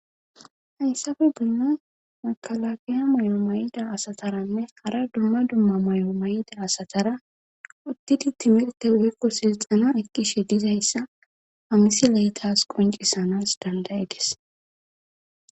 Hayssafe bunnon makalagiya mayo may7ida asataranne hara dumma dumma may'o may7ida asatara uttidi timirte wuykko silxana ekkishe dizayssa hamisi leytas qoncisanas dandaye ges.